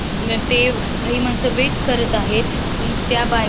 अन ते काही माणसं वेट करत आहेत त्या बाय--